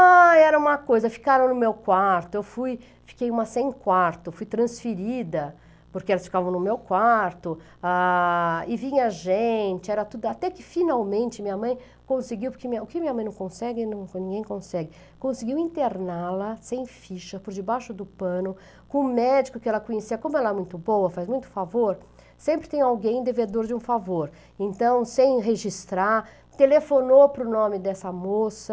Ah, era uma coisa, ficaram no meu quarto, eu fui, fiquei uma sem quarto, fui transferida, porque elas ficavam no meu quarto, ah... e vinha gente, era tudo, até que finalmente minha mãe conseguiu, porque o que minha mãe não consegue, ninguém consegue, conseguiu interná-la sem ficha, por debaixo do pano, com um médico que ela conhecia, como ela é muito boa, faz muito favor, sempre tem alguém devedor de um favor, então, sem registrar, telefonou para o nome dessa moça,